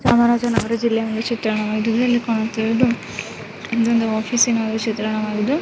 ಚಾಮರಾಜನಗರ ಜಿಲ್ಲೆಯ ಚಿತ್ರವಾಅಗಿದ್ದು ಇಲ್ಲಿ ಕಾಣಿಸುತ್ತಿರುವುದು ಒಂದು ಆಫೀಸಿನ ಚಿತ್ರಣವಾಗಿದ್ದು .